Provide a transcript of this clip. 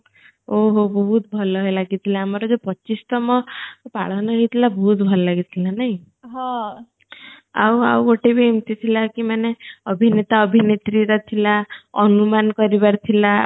ଓହୋ ବହୁତ ଭଲ ହେଲା କି ଥିଲା ଆମର ଯୋଉ ପଚିଶତମ ପାଳନ ହେଇଥିଲା ବହୁତ ଭଲ ଲାଗି ଥିଲା ନାହିଁ ଆଉ ଆଉ ଗଟେ ଭି ଏମିତି ଥିଲା କି ମାନେ ଅଭିନେତା ଅଭିନେତ୍ରୀ ର ଥିଲା ଅନୁମାନ କରିବାର ଥିଲା